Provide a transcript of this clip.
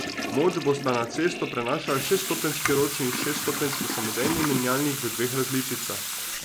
Moč bosta na cesto prenašala šeststopenjski ročni in šeststopenjski samodejni menjalnik v dveh različicah.